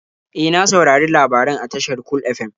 E, na saurari labaran a tashar Cool FM.